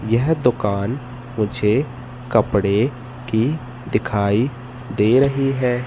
यह दुकान मुझे कपड़े की दिखाई दे रही है।